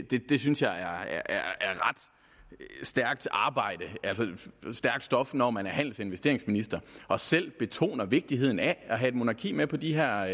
det synes jeg er ret stærkt stof når man er handels og investeringsminister og selv betoner vigtigheden af at have et monarki med på de her